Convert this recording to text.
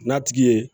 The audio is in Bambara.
N'a tigi ye